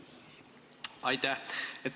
Aitäh!